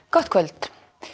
gott kvöld